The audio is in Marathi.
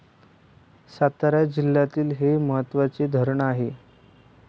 सातारा जिल्ह्यातील हे महत्वाचे धरण आहे.